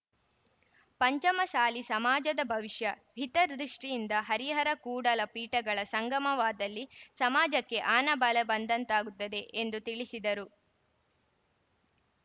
ಪಂಚಮಸಾಲಿ ಸಮಾಜದ ಭವಿಷ್ಯ ಹಿತದೃಷ್ಟಿಯಂದ ಹರಿಹರಕೂಡಲ ಪೀಠಗಳ ಸಂಗಮವಾದಲ್ಲಿ ಸಮಾಜಕ್ಕೆ ಆನ ಬಲ ಬಂದಂತಾಗುತ್ತದೆ ಎಂದು ತಿಳಿಸಿದರು